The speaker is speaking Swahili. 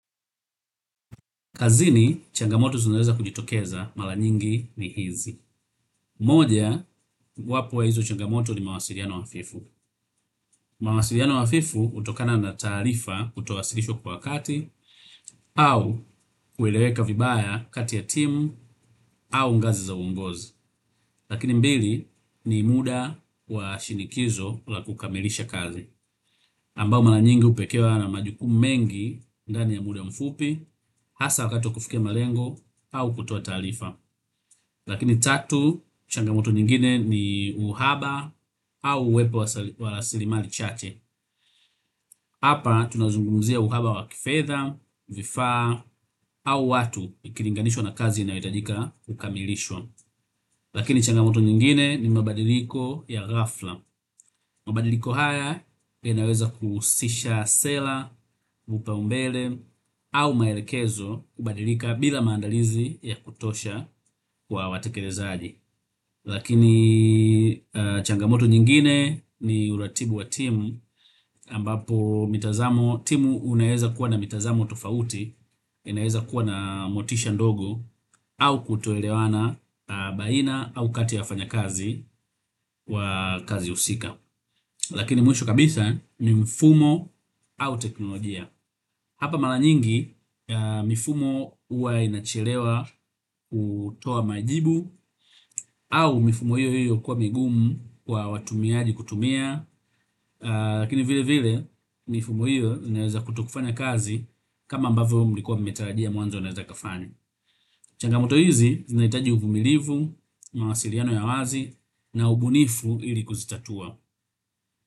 Kazini, changamoto zinaweza kujitokeza, mala nyingi ni hizi. Moja, wapo ya hizo changamoto ni mawasiliano hafifu. Mawasiliano hafifu hutokana na taarifa kutowasilishwa kwa wakati, au kueleweka vibaya kati ya timu, au ngazi za uongozi. Lakini mbili ni mda wa shinikizo la kukamilisha kazi. Ambao mala nyingi upekewa na majukumu mengi ndani ya mda mfupi, hasa wakati wa kufikia malengo, au kutoa taarifa. Lakini tatu, changamoto nyingine ni uhaba au uwepo wa rasili mali chache. Hapa, tunazungumzia uhaba wa kifedha, vifaa, au watu ikilinganishwa na kazi inayo hitajika kukamilishwa. Lakini changamoto nyingine ni mabadiliko ya ghafla. Mabadiliko haya, yanaweza kuhusisha sela, mupa umbele, au maelekezo kubadilika bila maandalizi ya kutosha kwa watekelezaji. Lakini changamoto nyingine ni uratibu wa timu, ambapo mitazamo, timu unaeza kuwa na mitazamo tofauti, unaeza kuwa na motisha ndogo au kutoelewana baina au kati ya wafanya kazi wa kazi husika. Lakini mwisho kabisa ni mfumo au teknolojia. Hapa mala nyingi mifumo uwa inachelewa kutoa majibu au mifumo hiyo hiyo kuwa migumu kwa watumiaji kutumia, lakini vile vile mifumo hiyo inaweza kutokufanya kazi kama ambavyo mlikuwa mmetarajia mwanzo inaweza ikafanya. Changamoto hizi zinaitaji uvumilivu, mawasiliano ya wazi na ubunifu ili kuzitatua.